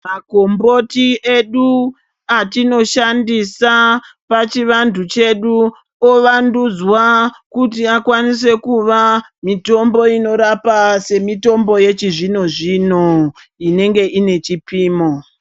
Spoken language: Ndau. Makomboti edu atinoshandisa pachivantu chedu ovandudzwa kuti akwanise kuva mitombo inorapa semitombo yechizvino zvino inenge ine chipimo.